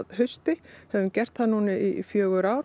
hausti höfum gert það núna í fjögur ár